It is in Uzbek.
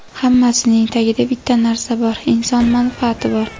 Hammasining tagida bitta narsa - inson manfaati bor.